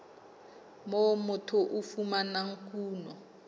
moo motho a fumanang kuno